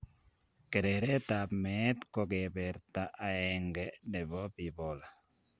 Kereret ab met kokeberta aeng'e nebo bipolar